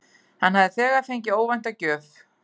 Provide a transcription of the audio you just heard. Hann hafði þegar fengið óvænta gjöf.